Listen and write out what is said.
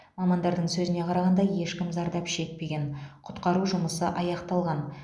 мамандардың сөзіне қарағанда ешкім зардап шекпеген құтқару жұмысы аяқталған